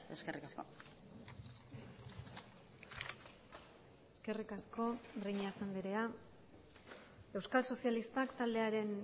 eskerrik asko eskerrik asko breñas andrea euskal sozialistak taldearen